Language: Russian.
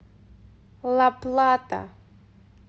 ла плата